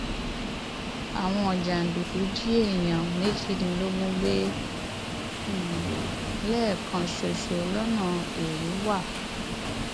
àwọn jàǹdùkú jí èèyàn méjìdínlógún gbé um lẹẹkan ṣoṣo lọnà èrúwà